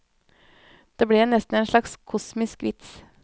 Det ble nesten en slags kosmisk vits.